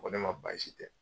Ko ne ma baasi tɛ